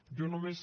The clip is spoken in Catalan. jo només